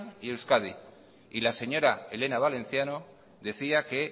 y euskadi y la señora elena valenciano decía que